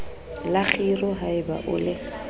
la kgiro haeba o le